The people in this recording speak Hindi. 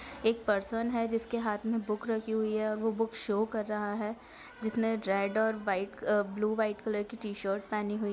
एक पर्सन है जिसके हाथ मे बुक रखी हुई है और वो बुक शो कर रहा है जिसने रेड और व्हाइट ब्लू व्हाइट कलर की टी शर्ट पहनी हुई--